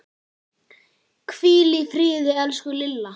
Hvíl í friði, elsku Lilla.